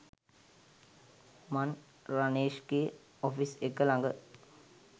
මං රනේෂ්ගෙ ඔ‍ෆිස් එක ළඟ